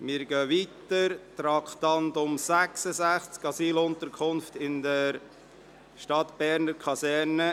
Wir kommen zum Traktandum 66, «Asylunterkunft in der Stadtberner Kaserne».